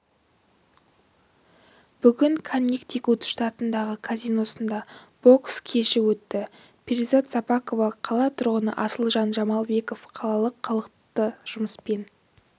бүгін коннектикут штатындағы казиносында бокс кеші өтті перизат сапақова қала тұрғыны асылжан жамалбеков қалалық халықты жұмыспен